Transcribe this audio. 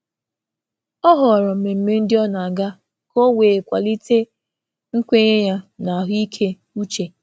Ọ na-abịa mmemme họrọ-họrọ, ka ọ gọzie okwukwe ya na ịdị mma nke uche.